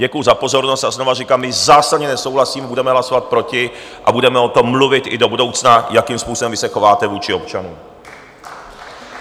Děkuju za pozornost a znovu říkám: my zásadně nesouhlasíme, budeme hlasovat proti a budeme o tom mluvit i do budoucna, jakým způsobem vy se chováte vůči občanům.